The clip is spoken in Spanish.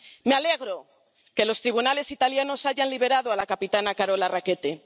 Me alegro de que los tribunales italianos hayan liberado a la capitana Carola Rackete.